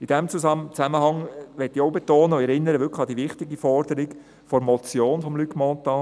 In diesem Zusammenhang möchte ich auch betonen und ich erinnere dabei auch an die wirklich wichtige Forderung der Motion von Luc Mentha: